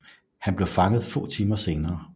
Han blev fanget få timer senere